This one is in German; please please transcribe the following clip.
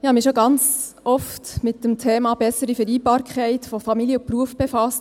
Ich habe mich schon ganz oft mit dem Thema bessere Vereinbarkeit von Familie und Beruf befasst.